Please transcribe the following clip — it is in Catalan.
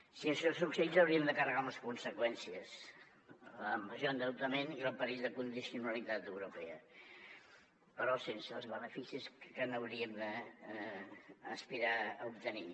si això succeís hauríem de carregar amb les conseqüències major endeutament i el perill de condicionalitat europea però sense els beneficis que n’hauríem d’aspirar a obtenir